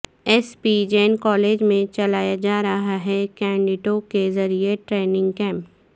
S P Jain college میں چلایا جارہاہےکیڈٹو ں کے ذریعہ ٹریننگ کیمپ